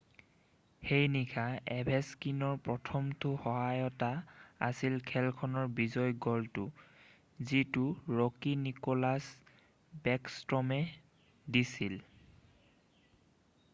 সেই নিশা অভেছকিনৰ প্ৰথমটো সহায়তা আছিল খেলখনৰ বিজয়ী গ'লটো যিটো ৰ'কি নিকোলাছ বেকষ্ট্ৰমে দিছিল